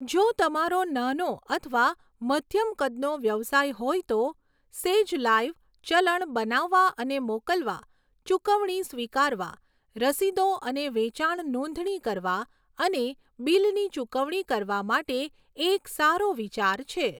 જો તમારો નાનો અથવા મધ્યમ કદનો વ્યવસાય હોય તો, 'સેજ લાઇવ' ચલણ બનાવવા અને મોકલવા, ચૂકવણી સ્વીકારવા, રસીદો અને વેચાણ નોંધણી કરવા અને બીલની ચૂકવણી કરવા માટે એક સારો વિચાર છે.